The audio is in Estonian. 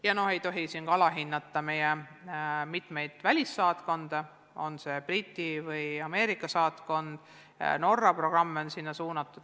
Alahinnata ei tohi ka meie välissaatkondi, olgu Briti või Ameerika saatkond, ka Norra programme on sinna suunatud.